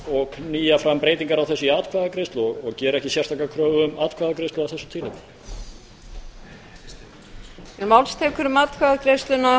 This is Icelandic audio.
og knýja fram breytingar á þessu á atkvæðagreiðslu og geri ekki sérstaka kröfu um atkvæðagreiðslu af þessu tilefni